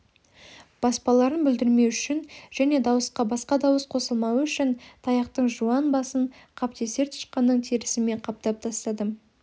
баспаларын бүлдірмеу үшін және дауысқа басқа дауыс қосылмауы үшін таяқтың жуан басын қаптесер тышқанның терісімен қаптап тастадым